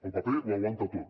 el paper ho aguanta tot